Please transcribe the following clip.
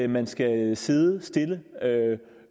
man skal sidde stille